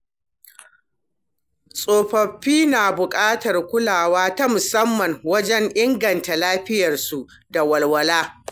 Tsofaffi na buƙatar kulawa ta musamman wajen inganta lafiyarsu da walwala.